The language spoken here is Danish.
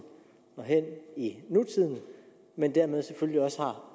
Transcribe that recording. og hen i nutiden men dermed selvfølgelig også har